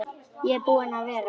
Ég er búinn að vera.